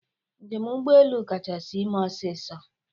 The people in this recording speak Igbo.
Njem ụgbọ elu kachasị ime ọsịsọ.